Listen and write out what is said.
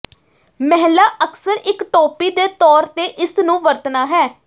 ਮਹਿਲਾ ਅਕਸਰ ਇੱਕ ਟੋਪੀ ਦੇ ਤੌਰ ਤੇ ਇਸ ਨੂੰ ਵਰਤਣਾ ਹੈ